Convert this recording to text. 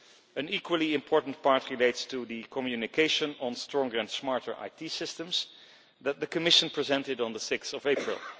An equally important part relates to the communication on stronger and smarter IT systems that the Commission presented on 6 April.